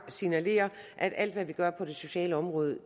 signalere at alt hvad vi gør på det sociale område